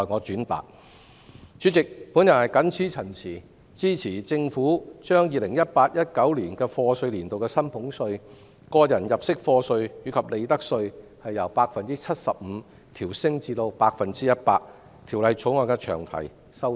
主席，我謹此陳辭，支持政府把 2018-2019 課稅年度的薪俸稅、個人入息課稅及利得稅的寬減率由 75% 調升至 100%， 並支持《條例草案》的詳題修訂。